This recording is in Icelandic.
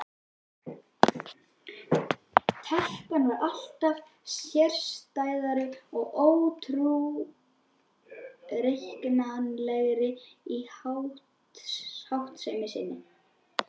Telpan varð alltaf sérstæðari og óútreiknanlegri í háttsemi sinni.